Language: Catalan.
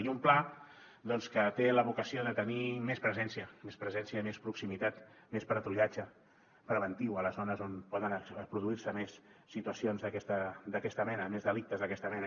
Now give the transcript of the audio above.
i un pla doncs que té la vocació de tenir més presència més presència i més proximitat més patrullatge preventiu a les zones on poden produir se més situacions d’aquesta mena més delictes d’aquesta mena